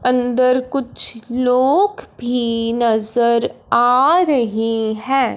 अंदर कुछ लोग भी नजर आ रही है।